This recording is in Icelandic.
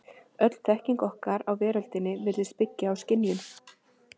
Öll þekking okkar á veröldinni virðist byggja á skynjun.